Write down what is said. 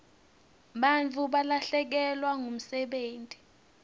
bantfu balahlekelwa ngumsebenti